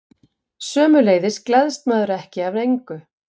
sömuleiðis gleðst maður ekki af engu